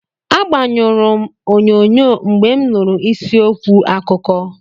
Agbanyụrụ m onyonyo mgbe m nụrụ isi okwu akụkọ.